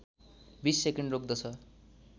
२० second रोक्दछ